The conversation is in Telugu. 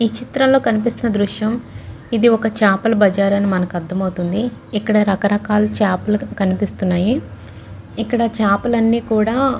ఈ చిత్రంలో కనిపిస్తున్న దృశ్యం ఇది ఒక చేపల బజారు అని నకు అర్థమవుతుంది. ఇక్కడ రకరకాలు చేపలు కనిపిస్తున్నాయి. ఇక్కడ చేపలన్ని కూడా.